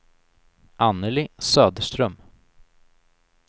Annelie Söderström